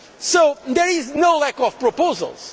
tax. So there is no lack of proposals.